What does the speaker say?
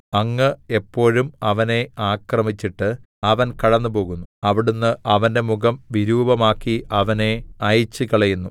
അങ്ങ് എപ്പോഴും അവനെ ആക്രമിച്ചിട്ട് അവൻ കടന്നുപോകുന്നു അവിടുന്ന് അവന്റെ മുഖം വിരൂപമാക്കി അവനെ അയച്ചുകളയുന്നു